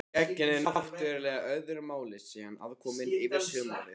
Það gegnir náttúrlega öðru máli sé hann aðkominn yfir sumarið.